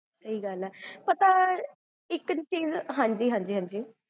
ਸਹੀ ਗਲ ਆ ਪਤਾ ਇਕ ਚੀਜ਼